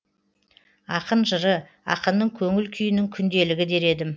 ақын жыры ақынның көңіл күйінің күнделігі дер едім